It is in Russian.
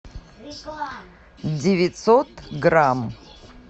девятьсот грамм